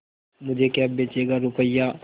मुझे क्या बेचेगा रुपय्या